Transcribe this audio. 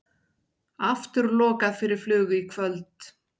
Aftur lokað fyrir flug í kvöld